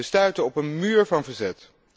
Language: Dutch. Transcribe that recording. We stuiten op een muur van verzet.